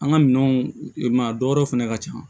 An ka minɛnw i maa dɔ wɛrɛ fɛnɛ ka ca